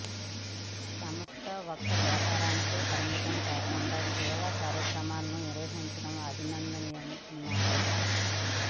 సంస్థ ఒక్క వ్యాపారానికే పరిమితం కాకుండా సేవా కార్యక్రమాలను నిర్వహించడం అభినందనీయమన్నారు